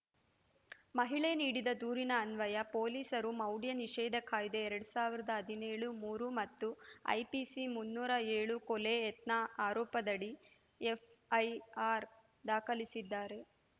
ಮಹಿಳೆ ನೀಡಿದ ದೂರಿನ ಅನ್ವಯ ಪೊಲೀಸರು ಮೌಢ್ಯ ನಿಷೇಧ ಕಾಯ್ದೆ ಎರಡ್ ಸಾವಿರದ ಹದಿನೇಳು ಮೂರು ಮತ್ತು ಐಪಿಸಿ ಮುನ್ನೂರ ಏಳು ಕೊಲೆ ಯತ್ನ ಆರೋಪದಡಿ ಎಫ್‌ಐಆರ್‌ ದಾಖಲಿಸಿದ್ದಾರೆ